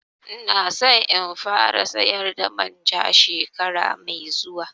Ina so in fara sayar da manja shekara mai zuwa